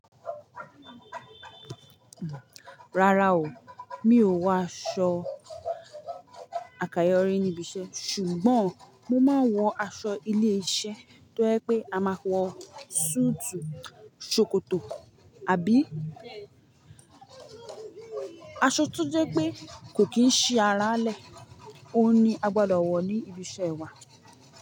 Rárá o, mi ò wọ aṣọ àkàyọ́ rín níbi iṣẹ́, ṣùgbọ́n mo máa ń wọ aṣọ ilé iṣẹ́ tó jẹ́ pé a máa wọ súùtù ṣòkòtò àbí aṣọ tó jẹ́ pé kò kí n ṣi ara lẹ. Ó n ní a gbọdọ̀ wọ̀ ọ́ ní ibi iṣẹ́ wa.